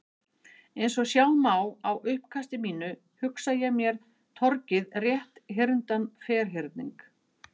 Eins og sjá má á uppkasti mínu, hugsa ég mér torgið rétthyrndan ferhyrning.